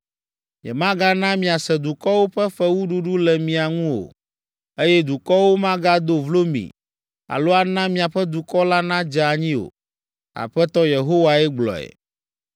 Nyemagana miase dukɔwo ƒe fewuɖuɖu le mia ŋu o, eye dukɔwo magado vlo mi alo ana miaƒe dukɔ la nadze anyi o. Aƒetɔ Yehowae gblɔe.’ ”